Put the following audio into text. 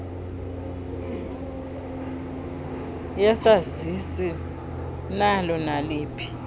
yesazisi nalo naliphi